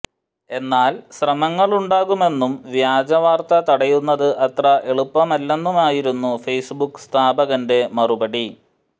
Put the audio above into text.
എന്നാൽ ശ്രമങ്ങളുണ്ടാകുമെന്നും വ്യാജവാർത്ത തടയുന്നത് അത്ര എളുപ്പമല്ലെന്നുമായിരുന്നു ഫെയ്സ്ബുക് സ്ഥാപകന്റെ മറുപടി